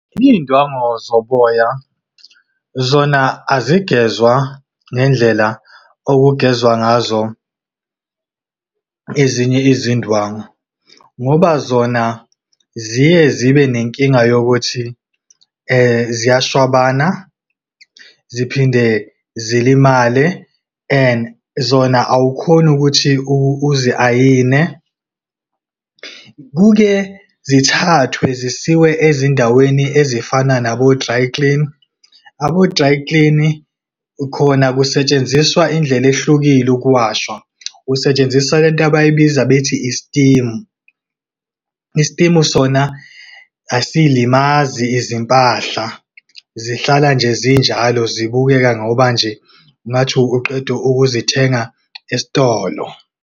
Iy'ndwango zoboya, zona azigezwa ngendlela okugezwa ngazo ezinye izindwangu. Ngoba zona ziye zibe nenkinga yokuthi, ziyashwabana, ziphinde zilimale, and zona awukhoni ukuthi uzi-ayine. Kuke zithathwe zisiwe ezindaweni ezifana nabo-dry clean, abo-dry clean, khona kusetshenziswa indlela ehlukile ukuwasha. Kusetshenziswa lento abayibiza bethi i-steam. I-steam sona asiyilimazi izimpahla, zihlala nje zinjalo, zibukeka ngoba nje ngathi uqeda ukuzithenga esitolo.